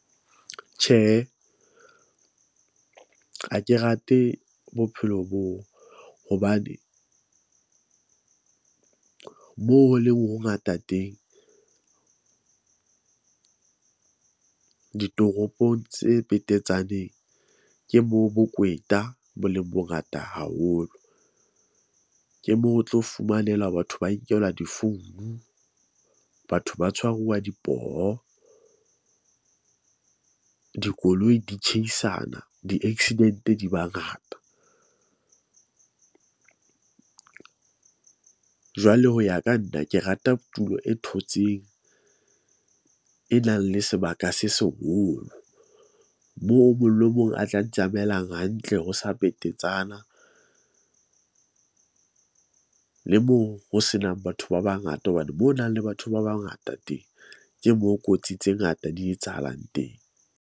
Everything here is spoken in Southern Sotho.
Tjhehe, ha ke rate bophelo boo hobane moo ho leng ho ngata teng ditoropong tse petetsaneng. Ke moo bokweta bo leng bongata haholo, ke moo o tlo fumanela batho ba nkelwa difounu. Batho ba tshwaruwa dipoho dikoloi di tjheisana di-accident, di ba ngata . Jwale ho ya ka nna, ke rata tulo e thotseng e nang le sebaka se seholo, moo o mong le mong a tla ntsamaelang hantle. Ho sa petetsana le moo ho senang batho ba bangata hobane mo ho nang le batho ba bangata teng ke mo kotsi tse ngata di etsahalang teng.